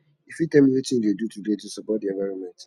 you fit tell me wetin you dey do today to support di environment